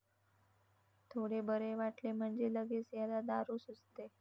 थोडे बरे वाटले म्हणजे लगेच याला दारू सुचते.